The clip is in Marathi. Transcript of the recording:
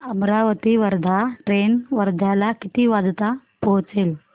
अमरावती वर्धा ट्रेन वर्ध्याला किती वाजता पोहचेल